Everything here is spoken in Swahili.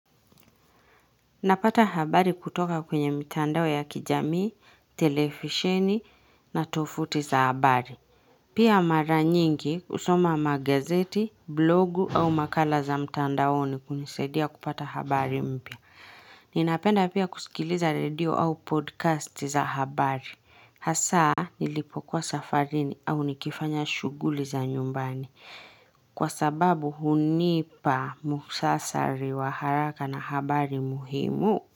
Napata habari kutoka kwenye mitandao ya kijamii, telefisheni na tofuti za habari. Pia mara nyingi husoma magazeti, blogu au makala za mtandaoni kunisaidia kupata habari mpya. Ninapenda pia kusikiliza radio au podcast za habari. Hasaa nilipokuwa safarini au nikifanya shuguli za nyumbani. Kwa sababu hunipa muhsasari wa haraka na habari muhimu.